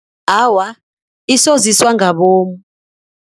Awa, isoziswa ngabomu.